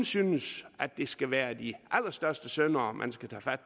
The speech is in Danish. synes at det kun skal være de allerstørste syndere man skal tage fat